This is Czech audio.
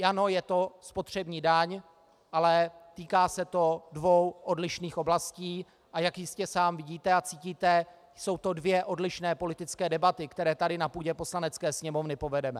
Ano, je to spotřební daň, ale týká se to dvou odlišných oblastí, a jak jistě sám vidíte a cítíte, jsou to dvě odlišné politické debaty, které tady na půdě Poslanecké sněmovny povedeme.